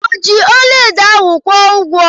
O ji ọlaedo ahu kwụọ ụgwọ?